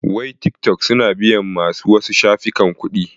Wai tikitok su na biyan ma su wasu shafukan kuɗi?